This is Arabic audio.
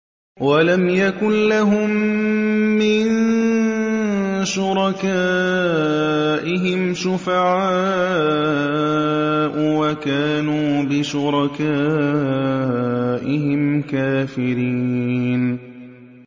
وَلَمْ يَكُن لَّهُم مِّن شُرَكَائِهِمْ شُفَعَاءُ وَكَانُوا بِشُرَكَائِهِمْ كَافِرِينَ